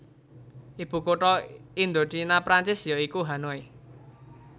Ibukutha Indochina Prancis ya iku Hanoi